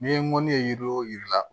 N'i ye mɔni ye yiri wo jiri la